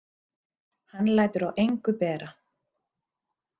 Hann lætur á engu bera.